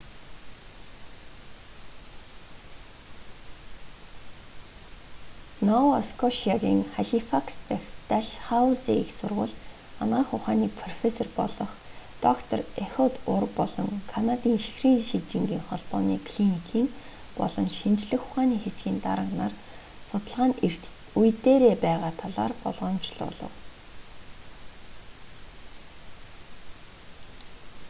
нова скошиагийн халифакс дахь дальхаузи их сургуульд анагаах ухааны профессор болох доктор эхуд ур болон канадын чихрийн шижингийн холбооны клиникийн болон шинжлэх ухааны хэсгийн дарга нар судалгаа нь эрт үе дээрээ байгаа талаар болгоомжлуулав